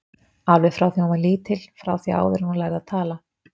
Alveg frá því að hún var lítil, frá því áður en hún lærði að tala.